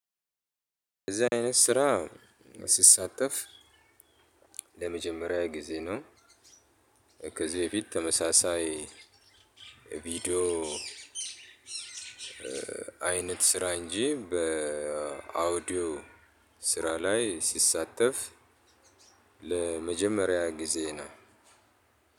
እንደዚህ አይነት ስራ ስሳተፍ ለመጀመሪያዬ ጊዜ ነው። ከዚህ በፊት ተመሳሳይ ቪዲዮ። አይነት ስራ እንጂ በአውዲዮ ስራ ላይ ስሳተፍ ለመጀመሪያ ጊዜ ነው።